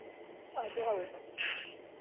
ಅದು ಹೌದು.